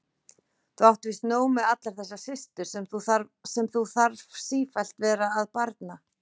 Þú átt víst nóg með allar þessar systur sem þú þarf sífellt vera að barna.